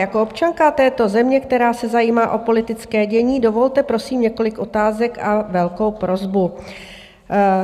Jako občanka této země, která se zajímá o politické dění, dovolte, prosím, několik otázek a velkou prosbu.